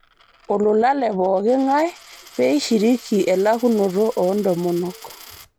Olula lee pooki ng'ai pee eishiriki elakunoto oo ntomonok